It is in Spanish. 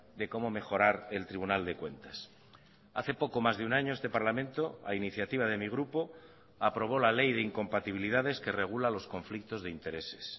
de cómo mejorar el tribunal de cuentas hace poco más de un año este parlamento a iniciativa de mi grupo aprobó la ley de incompatibilidades que regula los conflictos de intereses